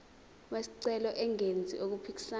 wesicelo engenzi okuphikisana